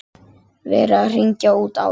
Verið að hringja út árið.